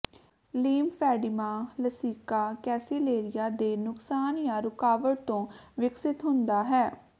lymphoedema ਲਸਿਕਾ ਕੈਸੀਲੇਰੀਆਂ ਦੇ ਨੁਕਸਾਨ ਜਾਂ ਰੁਕਾਵਟ ਤੋਂ ਵਿਕਸਤ ਹੁੰਦਾ ਹੈ